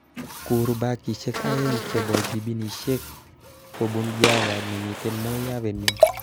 Kur bagishek aeng chobo jibinishek kobun Java nemiten Moi avenue